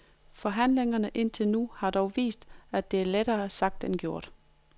Forhandlingerne indtil nu har dog vist, at det er lettere sagt end gjort.